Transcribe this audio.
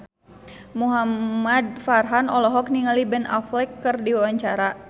Muhamad Farhan olohok ningali Ben Affleck keur diwawancara